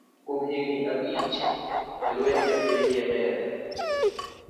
Kuom higni abich, e lweny man e piny Yemen